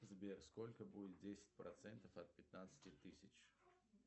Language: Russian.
сбер сколько будет десять процентов от пятнадцати тысяч